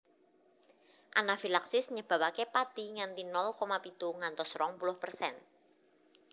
Anafilaksis nyebabake pati nganti nol koma pitu ngantos rong puluh persen